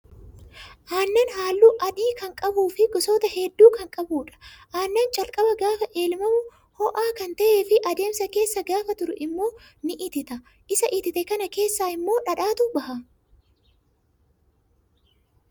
Aannan halluu adii kan qabuu fi gosoota hedduu kan qabudha. Aannan calqaba gaafa elmamu ho'aa kan ta'ee fi adeemsa keessa gaafa turu immoo ni itita. Isa itite kana keessaa immoo dhadhaatu baha.